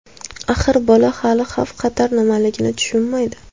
Axir, bola hali xavf-xatar nimaligini tushunmaydi.